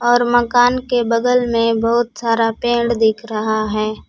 और मकान के बगल में बहुत सारा पेड़ दिख रहा है।